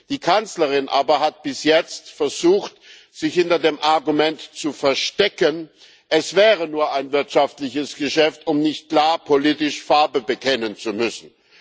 Die Kanzlerin aber hat bis jetzt versucht, sich hinter dem Argument zu verstecken, es wäre nur ein wirtschaftliches Geschäft, um nicht klar politisch Farbe bekennen zu müssen.